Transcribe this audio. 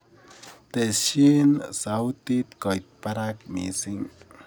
Tesyi sautit koit barak mising